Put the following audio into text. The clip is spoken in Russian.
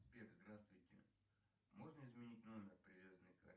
сбер здравствуйте можно изменить номер привязанный к карте